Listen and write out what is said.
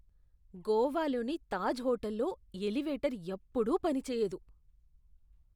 గోవాలోని తాజ్ హోటల్లో ఎలివేటర్ ఎప్పుడూ పనిచేయదు.